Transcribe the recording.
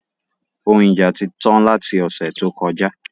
Òhun ija ti tán lati ọ̀sẹ̀ tó kọjá